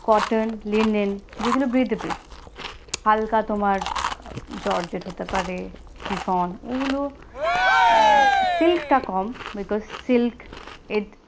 cotton linen যে গুলো breathable হালকা তোমার jorjet হতে পারে shiffon ওলো silk টা কম because silk it